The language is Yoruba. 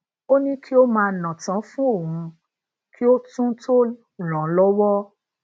ó ní kí o maa natan fún òun kí o tún to ran an lọwọ